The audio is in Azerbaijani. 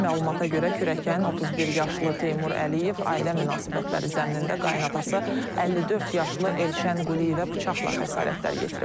Məlumata görə kürəkən 31 yaşlı Teymur Əliyev ailə münasibətləri zəminində qaynadası 54 yaşlı Elşən Quliyevə bıçaqla xəsarətlər yetirib.